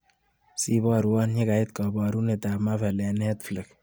Sibarwa yekait kabarunetap Marvel eng Netflix.